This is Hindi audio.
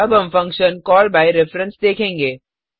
अब हम फंक्शन कॉल बाय रेफरेंस देखेंगे